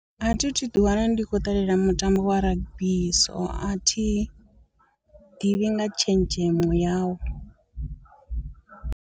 A thi thu ḓi wana ndi khou ṱalela mutambo wa rugby so a thi ḓivhi nga tshenzhemo yawo.